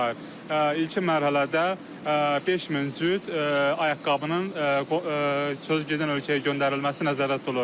İlkin mərhələdə 5000 cüt ayaqqabının söz gedən ölkəyə göndərilməsi nəzərdə tutulur.